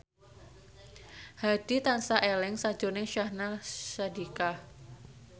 Hadi tansah eling sakjroning Syahnaz Sadiqah